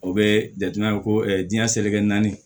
O bɛ jate minɛ ko diɲɛ seleke naani